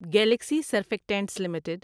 Galaxy Surfactants limited